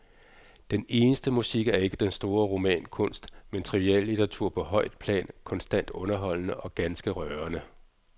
Den eneste musik er ikke den store romankunst, men triviallitteratur på højt plan, konstant underholdende og ganske rørende.